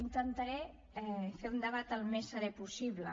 intentaré fer un debat el més serè possible